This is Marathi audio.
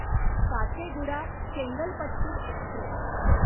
काचेगुडा चेंगलपट्टू एक्स्प्रेस